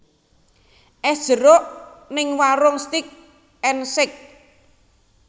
Es jeruk ning Waroenk Steak and Shake